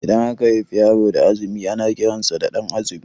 Idan aka haifi yaro da azumi ana kiran sa da Ɗan'azumi